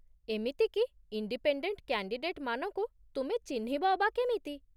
ଏମିତିକି ଇଣ୍ଡିପେଣ୍ଡେଣ୍ଟ୍ କ୍ୟାଣ୍ଡିଡେଟ୍‌ମାନଙ୍କୁ ତୁମେ ଚିହ୍ନିବ ଅବା କେମିତି?